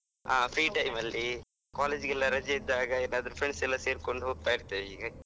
ಹಾ free time ಅಲ್ಲಿ, college ಗೆಲ್ಲ ರಜೆ ಇದ್ದಾಗ, ಎಲ್ಲಾದ್ರೂ friends ಎಲ್ಲ ಸೇರ್ಕೊಂಡು ಹೋಗ್ತಾ ಇರ್ತೇವೆ ಈ.